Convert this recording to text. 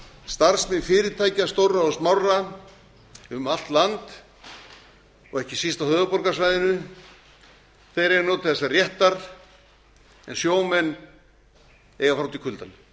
starfsmenn fyrirtækja stórra og smárra um allt land og ekki síst á höfuðborgarsvæðinu eiga að njóta þessa réttar en sjómenn eiga að fara út í kuldann